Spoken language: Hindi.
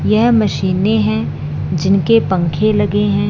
यह मशीने है जिनके पंखे लगे हैं।